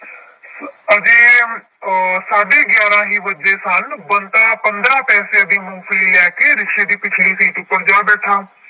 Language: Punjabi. ਅਜੇ ਅਹ ਸਾਢੇ ਗਿਆਰਾਂ ਹੀ ਵੱਜੇ ਸਨ ਬੰਤਾ ਪੰਦਰਾਂ ਪੈਸੇ ਦੀ ਮੂੰਗਫਲੀ ਲੈ ਕੇ ਰਿਕਸ਼ੇੇ ਦੀ ਪਿੱਛਲੀ ਸੀਟ ਉੱਪਰ ਜਾ ਬੈਠਾ।